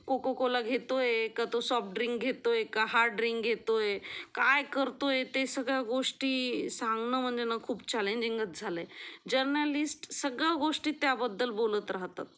cocoa cola घेतोय का तो सॉफ्ट ड्रिंक घेतोय का हार्ड ड्रिंक घेतो काय करतोय ते सगळ्या गोष्टी सांगणं म्हणजे ना खूप चॅलेंजिंगच झाले आहे, जर्नलिस्ट सगळ्या गोष्टी त्या बद्दल बोलत राहतात